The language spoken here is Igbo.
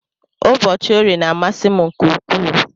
Ụbọchi orie na amasi mu nke ukwu.